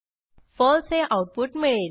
फळसे हे आऊटपुट मिळेल